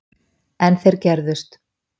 En þeir gerðust.